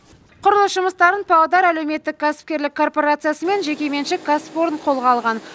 құрылыс жұмыстарын павлодар әлеуметтік кәсіпкерлік корпорациясы мен жекеменшік кәсіпорын қолға алған